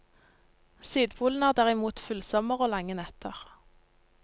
Sydpolen har derimot fullsommer og lange netter.